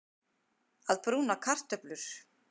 Að brúna kartöflur